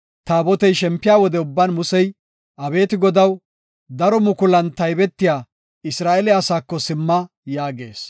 Taabotey shempiya wode ubban Musey, “Abeeti Godaw, daro mukulan taybetiya Isra7eele asaako simma” yaagees.